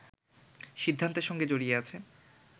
সিদ্ধান্তের সঙ্গে জড়িয়ে আছে